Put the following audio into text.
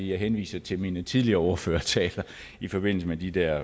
jeg henviser til mine tidligere ordførertaler i forbindelse med de der